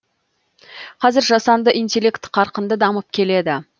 қазір жасанды интеллект қарқынды дамып келеді